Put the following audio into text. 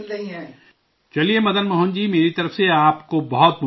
چلئے، مدن موہن جی میری طرف سے آپ کو بہت بہت نیک خواہشات